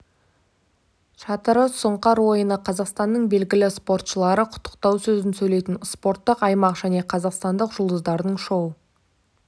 шатыры сұңқар ойыны қазақстанның белгілі спортшылары құттықтау сөзін сөйлейтін спорттық аймақ және қазақстандық жұлдыздардың шоу